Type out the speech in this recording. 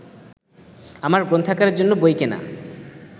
আমার গ্রন্থাগারের জন্য বই কেনা